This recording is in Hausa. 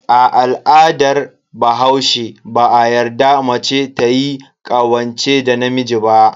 A al'adar bahaushe, ba a yarda mace tayi ƙawance da namiji ba.